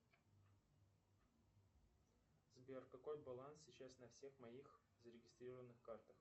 сбер какой баланс сейчас на всех моих зарегистрированных картах